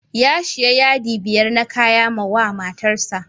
Ya shiya yadi biyar na kaya mawa matar sa.